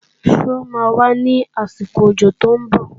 Ṣó máa wá ní àsìkò òjò tó ń bọ̀?